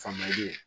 Famori ye